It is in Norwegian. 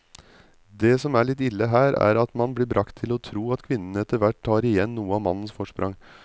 Det som er litt ille her, er at man blir bragt til å tro at kvinnene etterhvert tar igjen noe av mannens forsprang.